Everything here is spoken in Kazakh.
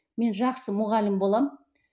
мен жақсы мұғалім боламын